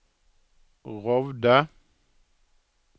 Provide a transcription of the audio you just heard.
Rovde